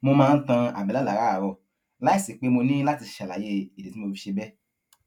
mo máa ń tan àbélà láràárò láìsí pé mo ní láti ṣàlàyé ìdí tí mo fi ṣe béè